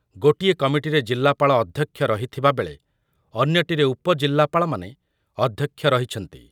ଗୋଟିଏ କମିଟିରେ ଜିଲ୍ଲାପାଳ ଅଧ୍ୟକ୍ଷ ରହିଥିବା ବେଳେ ଅନ୍ୟଟିରେ ଉପ ଜିଲ୍ଲାପାଳମାନେ ଅଧ୍ୟକ୍ଷ ରହିଛନ୍ତି।